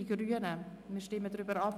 wir stimmen darüber ab.